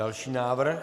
Další návrh.